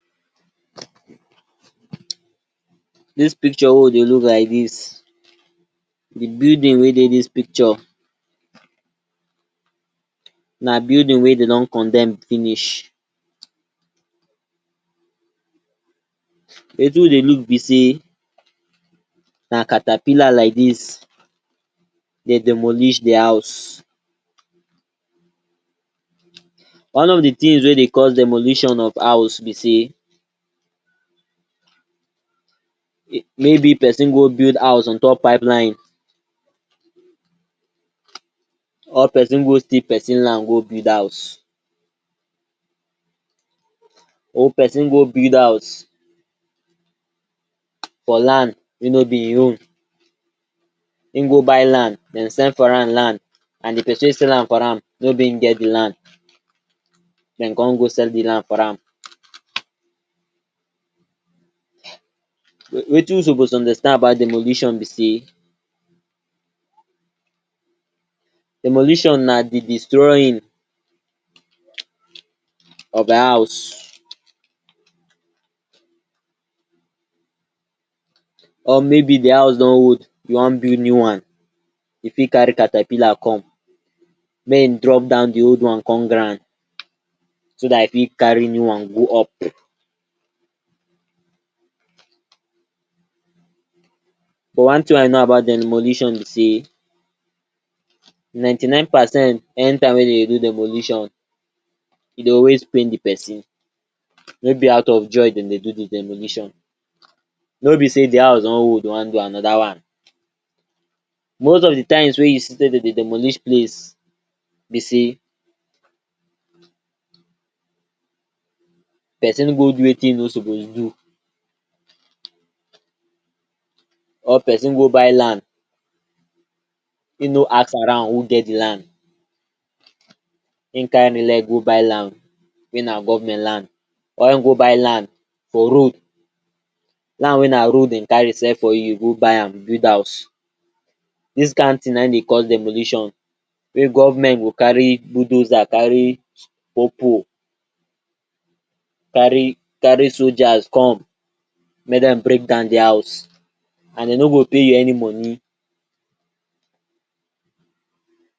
Dis picture wey you dey look like dis, di buiding wey dey dis picture na building wey dey don condemn finish Wetin we dey look be sey na catapila like dis dey demolish di house, one of di tins wey dey cause demolition of house be sey, maybe person go build house on top pipeline or pesin go steal pesin land go build house or pesin go build house for land wey no be im own Im go by land and dem sell for am land and di pesin wey sell amfor am no be im get di land, dem come go sell di land for am Wetin we suppose understand about demolition be say, demolition na di destroying of house or maybe di house don old you wan build new one, you fit cari cartapila come mey e drop down di old one come ground so dat you fit cari new on go up But one tin I no about demolition be say, ninety-nine percent anytime wey dem wan do demolition e dey always pain di pesin, no be out of joy dem dey do demolition No be sey di house don old den wan build anoda one, most of di time wey you see dem dey demolish place be sey, pesin go do wetin e no suppose do or pesin go buy land im no ask around who get di land Im cari im leg go buy land wey na government land or im go buy land for road, land wey na road dem cari sell for you you go buy am build house dis kind tin n aim dey course demolition Wey government go cari bulldozer cari popo cari cari soja come mey dem break down di house an dem no go pay you any moni